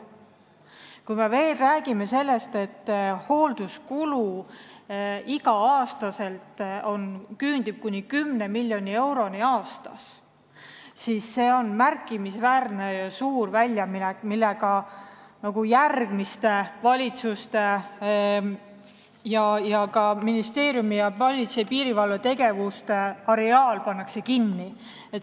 Kui me räägime veel sellest, et iga-aastane hoolduskulu küündib 10 miljoni euroni aastas, siis see on märkimisväärselt suur väljaminek, millega järgmiste valitsuste ning ka ministeeriumi ja politsei ja piirivalve tegevuste n-ö areaal kinni pannakse.